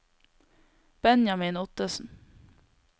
Benjamin Ottesen